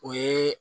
O ye